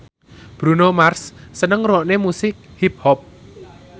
Bruno Mars seneng ngrungokne musik hip hop